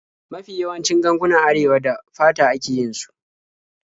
Mafi yawancin gangunan Arewa da fata ake yin su.